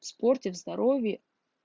спорте в здоровье